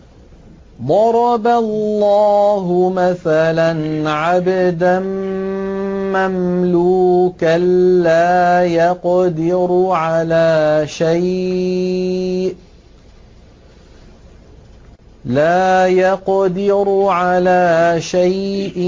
۞ ضَرَبَ اللَّهُ مَثَلًا عَبْدًا مَّمْلُوكًا لَّا يَقْدِرُ عَلَىٰ شَيْءٍ